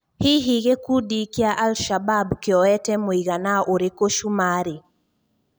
Hihi gikundi kĩa al-shabab kĩoete mũigana ũrĩkũ cũmarĩ?